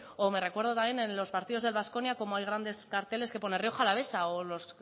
o me recuerdo también en los partidos del baskonia cómo hay grandes carteles que pone rioja alavesa o los